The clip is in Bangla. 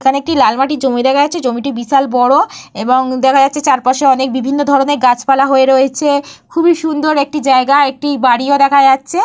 এইখানে একটি লাল মাটির জমি দেখা যাচ্ছে। জমিটি বিশাল বড়। এবং দেখা যাচ্ছে চারপাশে অনেক বিভিন্ন ধরণের গাছপালা হয়ে রয়েছে। খুবই সুন্দর একটি জায়গা। একটি বাড়িও দেখা যাচ্ছে।